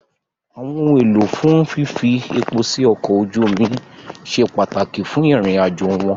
Àwọn ohun èlò fún fífi epo sí ọkọ̀ ojú omi ṣe pàtàkì fún ìrìnàjò wọn